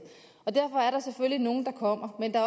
og derfor er der selvfølgelig nogle der kommer men der